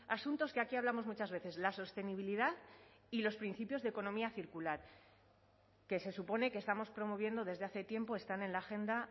asuntos que aquí hablamos muchas veces la sostenibilidad y los principios de economía circular que se supone que estamos promoviendo desde hace tiempo están en la agenda